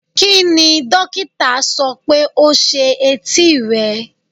Kini dokita sọ pe o se eti rẹ?